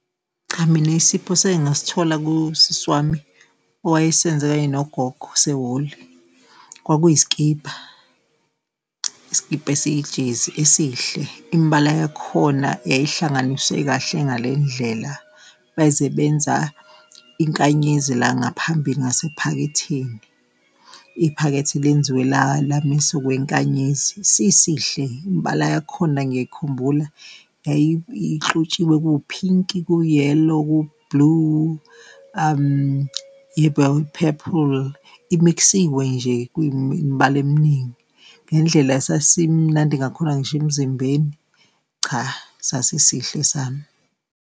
Cha, mina isipho sekengasithola kusisi wami owayesenzela kanye nogogo sehole kwakuyi sikibha. Isikibha esiyi-jersey esihle, imibala yakhona yayihlanganiswe kahle ngale ndlela, baze benza inkanyezi la ngaphambili ngasephaketheni, iphakethe lenziwe la misa okwenkanyezi. Sisihle imibala yakhona ngiyayikhumbula, ihlotshiwe kuwuphinki kuwu-yellow, kuwu-blue, ,, i-mix-we nje kwimibala eminingi. Ngendlela sasimunandi ngakhona ngisho emzimbeni, cha, sasihle esami.